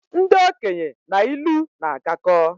Ndị okenye na ilu na agakọ